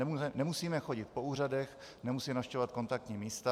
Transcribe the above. Nemusíme chodit po úřadech, nemusíme navštěvovat kontaktní místa.